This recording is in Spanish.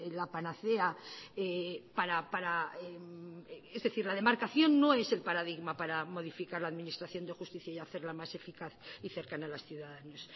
la panacea para es decir la demarcación no es el paradigma para modificar la administración de justicia y hacerla más eficaz y cercana a los ciudadanos